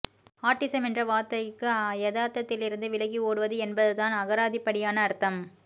autism என்ற வார்த்தைக்கு யதார்த்ததிலிருந்து விலகி ஓடுவது என்பதுதான் அகராதிப்படியான அர்த்தம்